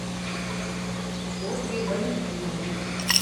ольге валентиновне